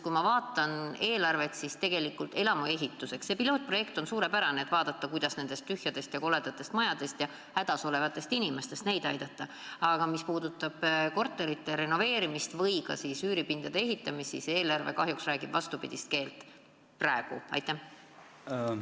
Kui ma vaatan eelarvet, siis näen, et elamuehituse pilootprojekt on suurepärane ja aitaks hädas olevatel inimestel nendest tühjadest ja koledatest majadest välja pääseda, aga korterite renoveerimiseks või üüripindade ehitamiseks on eelarve kahjuks liiga väike ja räägib vastupidist keelt.